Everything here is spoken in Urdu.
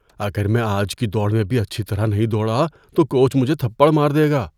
اگر میں آج کی دوڑ میں بھی اچھی طرح نہیں دوڑا تو کوچ مجھے تھپڑ مار دے گا۔